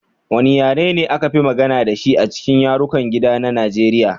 Wane yare ne aka fi magana da shi a cikin yarukan gida na Nigeriya?